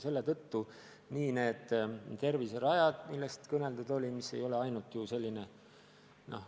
Selle tõttu on terviserajad, millest kõneldud sai, olulised.